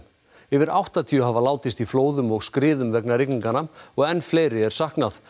yfir áttatíu hafa látist í flóðum og skriðum vegna og enn fleiri er saknað